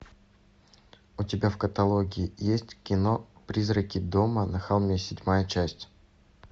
у тебя в каталоге есть кино призраки дома на холме седьмая часть